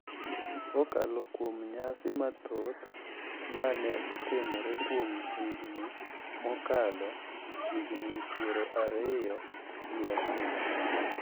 kokalo kuom nyasi mathoth ma ne otimre kuom higni mokalo higni pier ariyo gi abich.